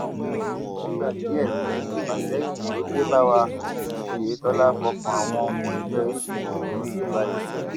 fúngbà díẹ ni ìfàsẹyìn tó dé bá wa oyetola fọkàn àwọn ọmọ ẹgbẹ apc ọsùn balẹ